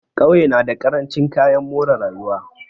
Ƙauye na da ƙarancin kayan more rayuwa.